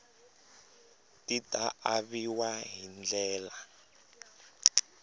ti ta aviwa hi ndlela